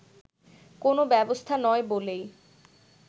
কোন ব্যবস্থা নয় বলেই